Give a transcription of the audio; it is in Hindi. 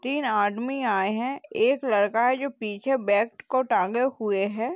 तीन आदमी आये हैं एक लड़का है जो पीछे बैग को टाँगे हुए है।